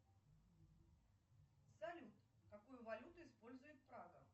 салют какую валюту использует прага